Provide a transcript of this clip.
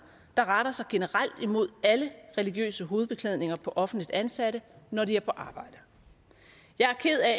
der retter sig generelt imod alle religiøse hovedbeklædninger på offentligt ansatte når de er på arbejde jeg er ked af